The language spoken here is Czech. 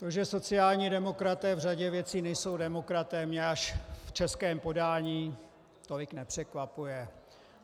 To, že sociální demokraté v řadě věcí nejsou demokraté, mě až v českém podání tolik nepřekvapuje.